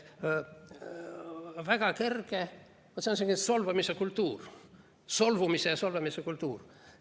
See on selline solvumise kultuur, solvumise ja solvamise kultuur.